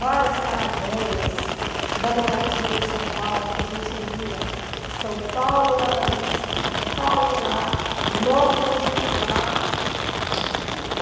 Várias caravanas da moradia de São Paulo que a gente ia, São Paulo lá na lista, São Paulo lá, nosso conjunto lá, a verba vinha.